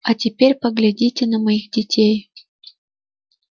а теперь поглядите на моих детей